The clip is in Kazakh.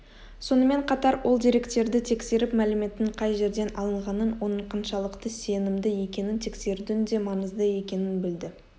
сонымен қатар ол деректерді тексеріп мәліметтің қай жерден алынғанын оның қаншалықты сенімді екенін тексерудің де маңызды екенін білді